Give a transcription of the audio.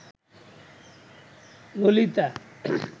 Lalita